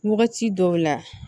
Wagati dɔw la